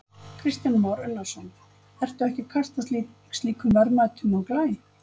Kristján Már Unnarsson: Ertu ekki að kasta slíkum verðmætum á glæ?